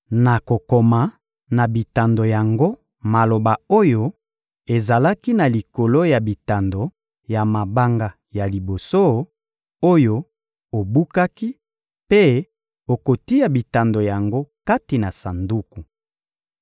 Nakokoma na bitando yango maloba oyo ezalaki na likolo ya bitando ya mabanga ya liboso, oyo obukaki; mpe okotia bitando yango kati na sanduku.»